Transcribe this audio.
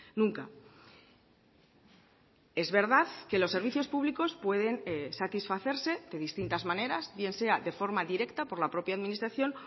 nunca es verdad que los servicios públicos pueden satisfacerse de distintas maneras bien sea de forma directa por la propia administración